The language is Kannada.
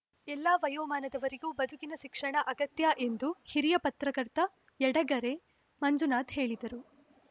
ಎಲ್ಲ ವಯೋಮಾನದವರಿಗೂ ಬದುಕಿನ ಶಿಕ್ಷಣ ಅಗತ್ಯ ಎಂದು ಹಿರಿಯ ಪತ್ರಕರ್ತ ಯಡೆಗೆರೆ ಮಂಜುನಾಥ್‌ ಹೇಳಿದರು